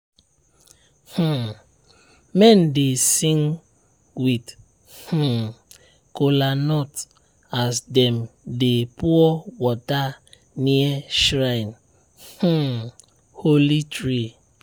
um men dey sing with um kolanut as dem dey pour water near shrine um holy tree.